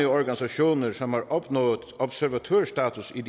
organisationer som har opnået observatørstatus i